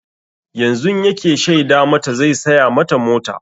Yanzun yake shaida mata zai saya mata mota.